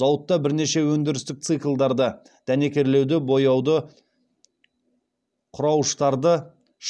зауытта бірнеше өндірістік циклдарды дәнекерлеуді бояуды құрауыштарды